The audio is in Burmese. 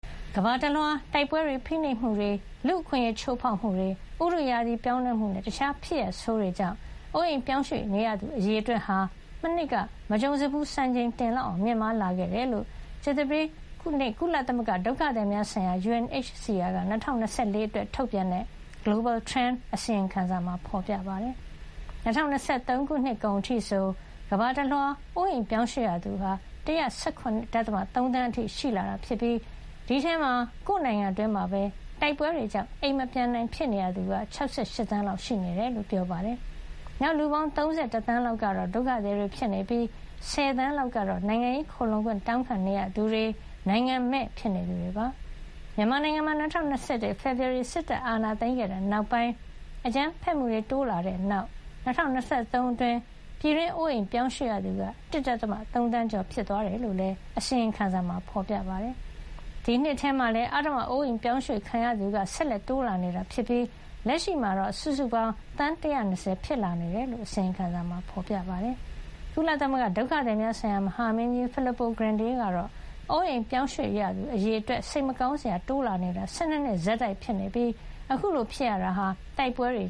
ကမ္ဘာတလွှား တိုက်ပွဲတွေ၊ ဖိနှိပ်မှုတွေ၊ လူ့အခွင့်ရေးချိုးဖေါက်မှုတွေ၊ ဥတုရာသီပြောင်းလဲမှုနဲ့ တခြားဖြစ်ရပ်ဆိုးတွေကြောင့် အိုးအိမ်ပြောင်းရွှေ့ ရသူ အရေအတွက်ဟာ မနှစ်က မကြုံစဖူး စံချိန်တင် မြင့်မားလာခဲ့တယ်လို့ ကြာသပတေးနေ့မှာ ကုလသမဂ္ဂ ဒုက္ခသည်များဆိုင်ရာ UNHCR က ၂၀၂၄ ခုနှစ်အတွက် ထုတ်ပြန်တဲ့ Global Trend အစီရင်ခံစာမှာ ဖေါ်ပြထားပါတယ်။ ၂၀၂၃ ခု နှစ်ကုန်အထိဆို ကမ္ဘာတလွှား အိုးအိမ်ပြောင်းရွှေ့ရသူဟာ ၁၁၇.၃ သန်း အထိရှိလာတာဖြစ်ပြီး ဒီအထဲမှာ ကိုယ့် နိုင်ငံအတွင်းမှာပဲ တိုက်ပွဲတွေကြောင့် အိမ်မပြန်နိုင်ဖြစ်နေရသူက ၆၈ သန်းလောက် ရှိနေတယ်လို့ ပြောပါတယ်။ နောက် လူပေါင်း ၃၁ သန်းလောက်ကတော့ ဒုက္ခသည်တွေ ဖြစ်နေပြီး ၁၀ သန်းလောက်ကတော့ နိုင်ငံရေး ခိုလှုံခွင့် တောင်းခံနေရသူတွေ၊ နိုင်ငံမဲ့ ဖြစ်နေသူတွေပါ။ မြန်မာနိုင်ငံမှာ ၂၀၂၁ ဖေဖေါ်ဝါရီ စစ်တပ်အာဏာသိမ်းခဲ့တဲ့ နောက်ပိုင်း အကြမ်းဖက်မှုတွေ တိုးလာခဲ့ပြီး ၂၀၂၃ ခုနှစ်အတွင်း ပြည်တွင်း အိုးအိမ်ပြောင်းရွှေ့ရသူက ၁.၃ သန်း ကျော် ဖြစ်သွားတယ်လို့လည်း အစီရင်ခံစာမှာ ဖေါ်ပြပါတယ်။ ဒီနှစ်ထဲမှာလည်း အဓမ္မ အိုးအိမ်ရွှေ့ပြောင်းခံရသူတွေ ဆက်လက် တိုးလာနေပြီး လက်ရှိမှာ စုစုပေါင်း သန်း ၁၂၀ ဖြစ်လာနေတယ်လို့လည်း အစီရင်ခံစာမှာ ဖေါ်ပြပါတယ်။ ကုလသမဂ္ဂ ဒုက္ခသည်များဆိုင်ရာ မဟာမင်းကြီး Filippo Grandi ကတော့ အိုးအိမ်ရွေ့ပြောင်းရသူအရေအတွက်ဟာ စိတ်မကောင်းစရာ တိုးလာနေတာ ၁၂ နှစ် လုံးလုံး ဆက်တိုက်ဖြစ်နေပြီး အခုလို ဖြစ်ရတာဟာ တိုက်ပွဲတွေ